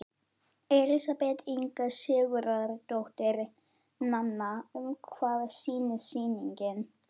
Elísabet Inga Sigurðardóttir: Nanna, um hvað snýst sýningin?